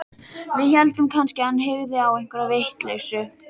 Við héldum kannski að hann hygði á einhverja vitleysu.